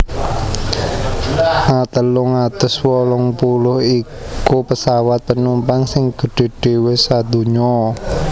A telung atus wolung puluh iku pesawat penumpang sing gedhé dhéwé sadonya